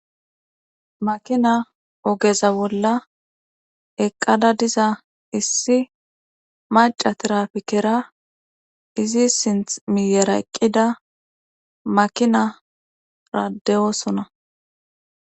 Makina ogeza bolla eqqada diza issi maca tirapikera izi sinth miyera eqqida makinaradeyoosona.